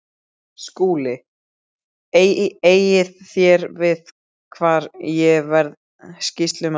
SKÚLI: Eigið þér við hvar ég verði sýslumaður?